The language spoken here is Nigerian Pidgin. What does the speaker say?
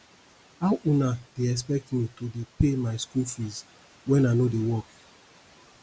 how una dey expect me to dey pay my school fees wen i no dey work